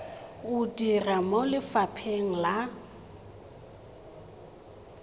o dira mo lefapheng la